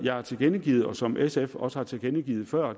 jeg har tilkendegivet og som sf også har tilkendegivet før